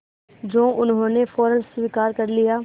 जो उन्होंने फ़ौरन स्वीकार कर लिया